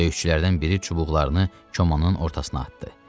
Döyüşçülərdən biri çubuqlarını komanın ortasına atdı.